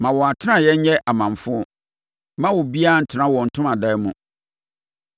Ma wɔn atenaeɛ nyɛ amamfo; mma obiara ntena wɔn ntomadan mu.